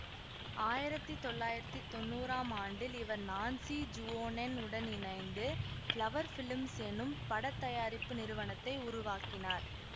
ஆயிரத்தி தொள்ளாயிரத்தி தொன்னூறாம் ஆண்டில் இவர் நான்ஸி ஜுவோனென் உடன் இணைந்து பிளவர் பிலிம்ஸ் என்னும் பட தயாரிப்பு நிறுவனத்தை உருவாக்கினார்